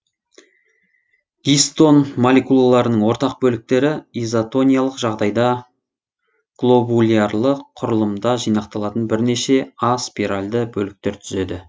гистон молекулаларының ортақ бөліктері изотониялық жағдайда глобулярлы құрылымда жинақталатын бірнеше а спиральді бөліктер түзеді